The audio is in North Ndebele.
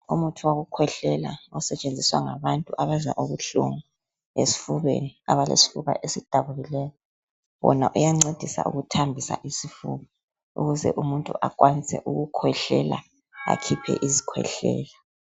Umuthi wokukhwehlela , osetshenziswa ngabantu abazwa ubuhlungu esifubeni. Abalesifuba esidabukileyo ,wona iyancedisa ukuthambisa isifuba .Ukuze umuntu akhwanise ukukhwehlela akhuphe isikhwehlela.